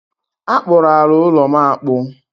A kpụrụ ala ụlọ'm akpụ